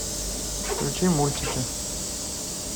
включи мультики